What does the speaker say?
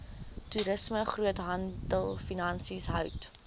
toerisme groothandelfinansies hout